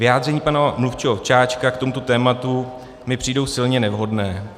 Vyjádření pana mluvčího Ovčáčka k tomuto tématu mi přijdou silně nevhodná.